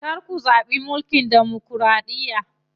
Kar ku zaɓi mulkin demokiraɗiya.